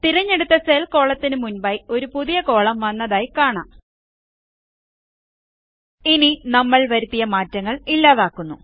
തിരഞ്ഞെടുത്ത സെൽ കോളത്തിന് മുൻപായി ഒരു പുതിയ കോളം വന്നതായി കാണാം ഇനി നമ്മൾ വരുത്തിയ മാറ്റങ്ങൾ ഇല്ലാതാക്കുക